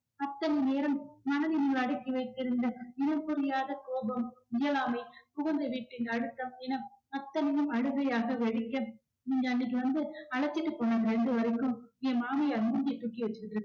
அத்தனை நேரம் மனதினுள் அடக்கி வைத்திருந்த இனம் புரியாத கோபம், இயலாமை, புகுந்த வீட்டின் அழுத்தம் இனம் அத்தனையும் அழுதையாக வெடிக்க நீங்க அன்னைக்கு வந்து அழைச்சிட்டு போன வரைக்கும் என் மாமியார் மூஞ்ச தூக்கி வச்சுக்கிட்டு